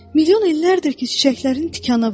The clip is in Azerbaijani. Milyon illərdir ki, çiçəklərin tikanı var.